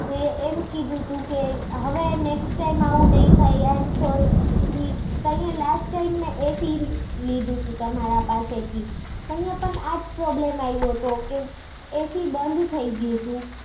કે એમ કીધું તું કે હવે next time એવું નહિ થાય. કે I am sorry. અહીંયા મેં last time મેં AC પણ લીધું તું. તમારા પાસે થી તો આજ problem આયવો તો કે AC બંધ થઇ ગયું હતું.